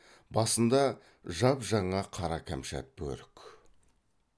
басында жап жаңа қара кәмшат бөрік